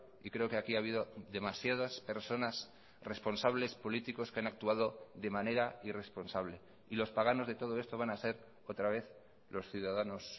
y creo que aquí ha habido demasiadas personas responsables políticos que han actuado de manera irresponsable y los paganos de todo esto van a ser otra vez los ciudadanos